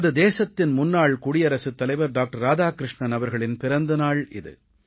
நமது தேசத்தின் முன்னாள் குடியரசுத் தலைவர் டாக்டர் ராதாகிருஷ்ணன் அவர்களின் பிறந்த நாள் இது